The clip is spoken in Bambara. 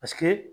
Paseke